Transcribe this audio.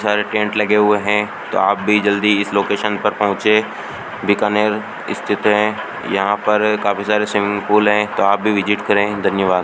सारे टेंट लगे हुए हैं तो आप भी जल्दी इस लोकेशन पर पहुंचे बीकानेर स्थित हैं यहां पर काफी सारे स्विमिंग पूल हैं तो आप भी विजिट करें धन्यवाद।